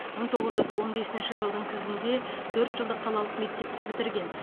мың тоғыз жүз он бесінші жылдың күзінде төрт жылдық қалалық мектепті бітірген